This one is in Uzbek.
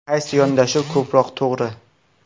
Qaysi yondashuv ko‘proq to‘g‘ri?